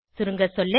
சுருங்கசொல்ல